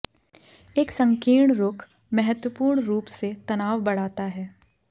एक संकीर्ण रुख महत्वपूर्ण रूप से तनाव बढ़ाता है